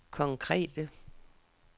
konkrete